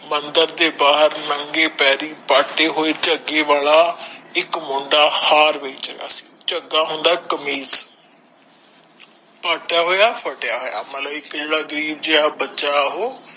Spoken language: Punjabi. ਮੰਦਿਰ ਦੇ ਬਹਾਰ ਨੰਗੇ ਪੈਰੀ ਪਾਟੇ ਹੋਏ ਜਗੇ ਵਾਲਾ ਇਕ ਮੁੰਡਾ ਹਾਰ ਵੇਚ ਰਿਹਾ ਸੀ ਜਗਾ ਹੁੰਦਾ ਕਮੀਜ਼ ਪਟਾ ਹੋਯਾ ਫ਼ਤਯਾ ਹੋਯਾ ਮਤਲਬ ਇਕ ਜੇੜਾ ਗਰੀਬ ਜੇਹਾ ਬੱਚਾ ਉਹ